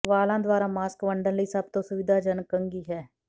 ਵਾਲਾਂ ਦੁਆਰਾ ਮਾਸਕ ਵੰਡਣ ਲਈ ਸਭ ਤੋਂ ਸੁਵਿਧਾਜਨਕ ਕੰਘੀ ਹੈ